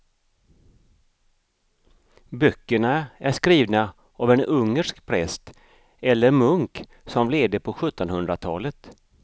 Böckerna är skrivna av en ungersk präst eller munk som levde på sjuttonhundratalet.